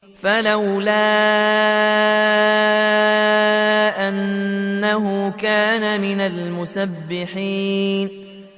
فَلَوْلَا أَنَّهُ كَانَ مِنَ الْمُسَبِّحِينَ